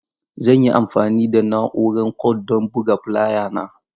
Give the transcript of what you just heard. Zan yi amfani da na'urar Kord don buga fulaya na.